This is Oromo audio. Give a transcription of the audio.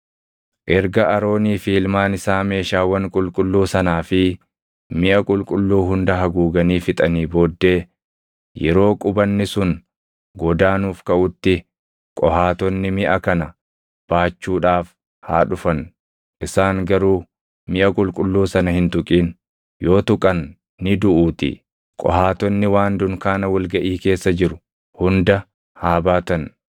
“Erga Aroonii fi ilmaan isaa meeshaawwan qulqulluu sanaa fi miʼa qulqulluu hunda haguuganii fixanii booddee yeroo qubanni sun godaanuuf kaʼutti Qohaatonni miʼa kana baachuudhaaf haa dhufan. Isaan garuu miʼa qulqulluu sana hin tuqin; yoo tuqan ni duʼuutii. Qohaatonni waan dunkaana wal gaʼii keessa jiru hunda haa baatan.